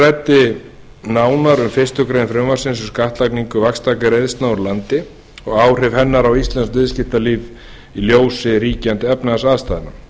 ræddi nánar um fyrstu grein frumvarpsins um skattlagningu vaxtagreiðslna úr landi og áhrif hennar á íslenskt viðskiptalíf í ljósi ríkjandi efnahagsaðstæðna